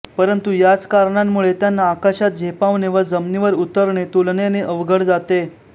परंतु याच कारणांमुळे त्यांना आकाशात झेपावणे व जमिनीवर उतरणे तुलनेने अवघड जाते